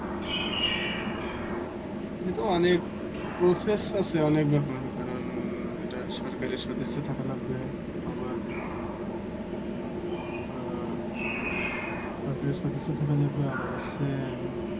সে তো অনেক process আছে। অনেক ব্যাপার কারণ এটা সরকারের সদিচছা থাকা লাগবে। আবার আহ সরকারের সদিচ্ছা থাকা লাগবে আবার হচ্ছে